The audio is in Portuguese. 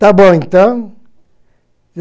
Tá bom, então.